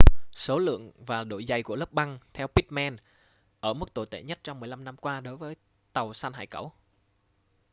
số lượng và độ dày của lớp băng theo pittman ở mức tồi tệ nhất trong 15 năm qua đối với tàu săn hải cẩu